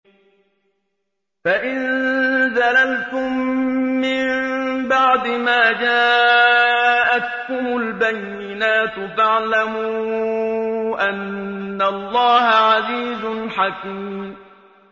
فَإِن زَلَلْتُم مِّن بَعْدِ مَا جَاءَتْكُمُ الْبَيِّنَاتُ فَاعْلَمُوا أَنَّ اللَّهَ عَزِيزٌ حَكِيمٌ